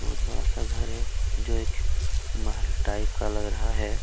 बोहत बड़ा का घर हैं जो एक महल टाइप का लग रहा हैं।